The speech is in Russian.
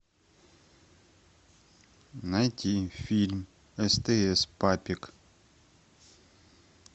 найти фильм стс папик